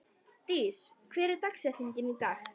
Dís, hver er dagsetningin í dag?